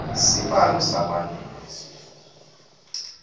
sibalo salabangenwe sifo